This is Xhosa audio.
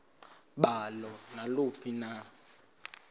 balo naluphi na